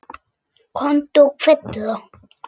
Komdu og kveddu þá.